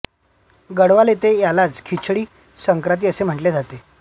गढवाल येथे यालाच खिचडी संक्रांती असे म्हंटले जाते